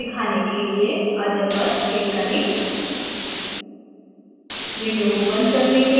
एक अलग window में पूरी periodic table दिखाने के लिए other पर click करें